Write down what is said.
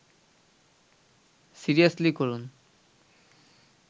seriously করুন